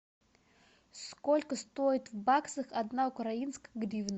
сколько стоит в баксах одна украинская гривна